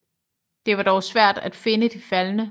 Det var dog svært at finde de faldne